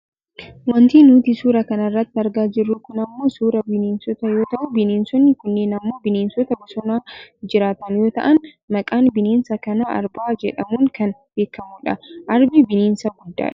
Wanti nuti suura kana irratti argaa jirru kun ammoo suuraa bineesotaa yoo ta'u bineesonni kunneen ammoo bineensota bosona jiraatan yoo ta'an maqaan bineensa kana Arba jedhamuun kan beekkamudha. Arbi bineensa guddaadha.